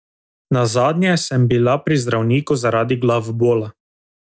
Nazadnje sem bila pri zdravniku zaradi glavobola.